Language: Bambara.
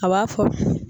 A b'a fɔ